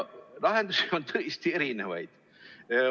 Lahendusi on tõesti erinevaid.